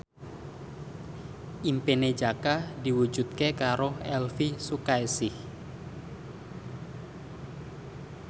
impine Jaka diwujudke karo Elvy Sukaesih